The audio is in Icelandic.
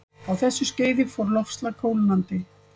Á þessu skeiði fór loftslag kólnandi.